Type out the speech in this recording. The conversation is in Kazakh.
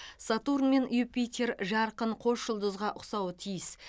сатурн мен юпитер жарқын қос жұлдызға ұқсауы тиіс